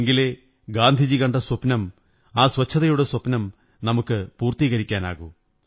എങ്കിലേ ഗാന്ധിജി കണ്ട സ്വപ്നം ആ സ്വച്ഛതയുടെ സ്വപ്നം നമുക്കു പൂര്ത്തീ്കരിക്കാനാകൂ